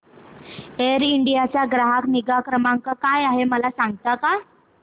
air India चा ग्राहक निगा क्रमांक काय आहे मला सांगता का